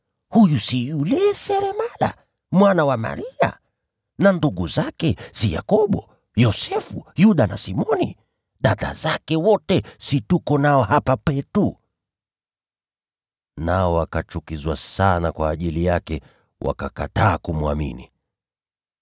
Huyu si yule seremala, mwana wa Maria? Na ndugu zake si Yakobo, Yose, Yuda na Simoni? Dada zake wote si tuko nao hapa kwetu?” Nao wakachukizwa sana kwa ajili yake, wakakataa kumwamini.